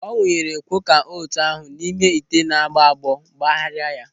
Ọ wunyere kwoka ôtù ahụ n'ime ite na-agbọ agbọ kpagharia ya.